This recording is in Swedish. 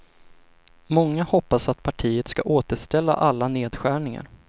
Många hoppas att partiet ska återställa alla nedskärningar.